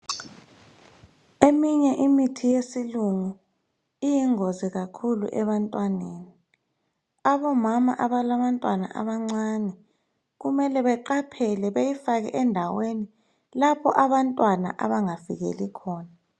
Eminye imithi yesilungu iyingozi kakhulu ebantwaneni. Abomama abalabantwana abancane kumele beqaphele beyifake endaweni lapho abantwana abangafikeli khona.